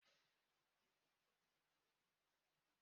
Ee, anyị na-akpa maka ya ugbua.